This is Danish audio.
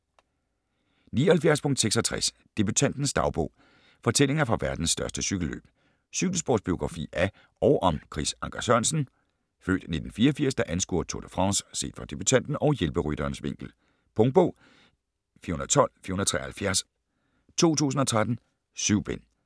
79.66 Debutantens dagbog: fortællinger fra verdens største cykelløb Cykelsportsbiografi af og om Chris Anker Sørensen (f. 1984), der anskuer Tour de France set fra debutanten og hjælperytterens vinkel. Punktbog 412473 2013. 7 bind.